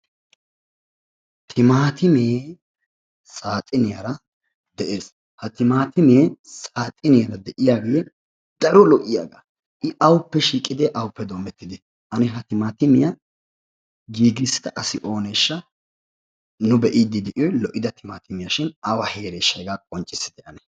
Timatimme saaxiniyaara de'ees. Ha Timatimme saaxiniyaan diyaage daro lo"iyaaga I awuppe shiiqide awuppe doomettide ? Ane ha timatimmiya giigissida asi ooneshsha? Nu bee'idi de'iyoy lo"idda timatimmiya shin awa heereshsha hega qonccissite.